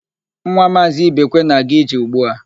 Nwa Maazị Ibekwe na-aga ije ugbu a.